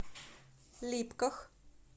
липках